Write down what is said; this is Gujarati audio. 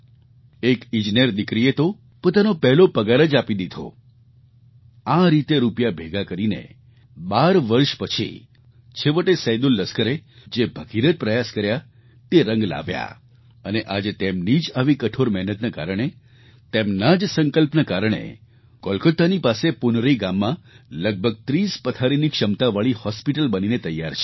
એક ઈજનેર દીકરીએ તો પોતાનો પહેલો પગાર જ આપી દીધો આ રીતે રૂપિયા ભેગા કરીને 12 વર્ષ પછી છેવટે સૈદુલ લસ્કરે જે ભગીરથ પ્રયાસ કર્યા તે રંગ લાવ્યા અને આજે તેમની જ આવી કઠોર મહેનતના કારણે તેમના જ સંકલ્પના કારણે કોલકાતાની પાસે પુનરી ગામમાં લગભગ 30 પથારીની ક્ષમતાવાળી હૉસ્પિટલ બનીને તૈયાર છે